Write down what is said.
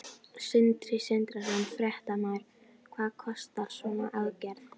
Sindri Sindrason, fréttamaður: Hvað kostar svona aðgerð?